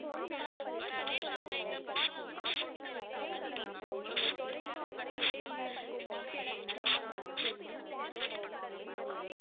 வேற அதுவும் இல்லாம இந்த bus ல வந்து food வந்த available ma'am உங்களுக்கு food தேவைபட்டுச்சுன்னா எங்களுடைய agency வந்து உங்களுக்கு food வந்து delivery பண்ணுவாங்க ma'am